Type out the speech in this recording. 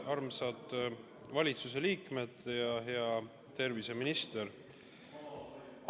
Armsad valitsuse liikmed ja hea terviseminister!